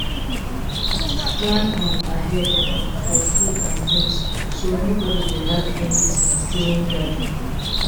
Plan um ahead um for food and drinks, so nobody go lack anything during gathering.